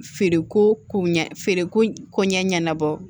Feereko ko ɲɛ feereko ɲɛɲɛbɔ